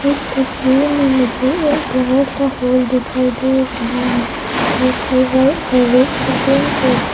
इस तस्वीर में मुझे एक बड़ा सा हॉल दिखाई दे रहा है जोकि वाइट और रेड से पेंट करके--